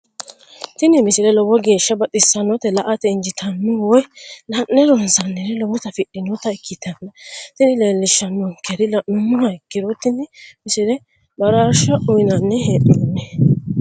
tini misile lowo geeshsha baxissannote la"ate injiitanno woy la'ne ronsannire lowote afidhinota ikkitanna tini leellishshannonkeri la'nummoha ikkiro tini misile baraarsha uyiinanni hee'noonni.